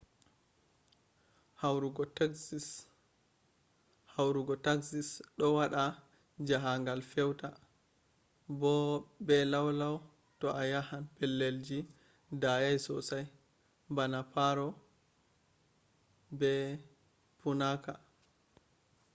haurugo taxis ɗo waɗa jahangal feuta bo be lau lau to a yahan pellelji dayai sossai bana paro nu 150 be punaka nu 200